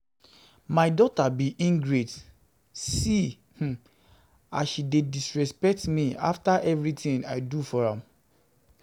My daughter be ingrate. See um as she dey disrespect me after everything I do for am